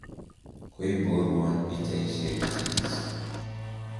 koiboruon pichaisiekchich